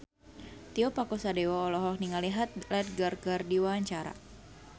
Tio Pakusadewo olohok ningali Heath Ledger keur diwawancara